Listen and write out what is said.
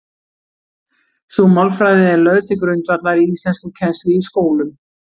Sú málfræði er lögð til grundvallar í íslenskukennslu í skólum.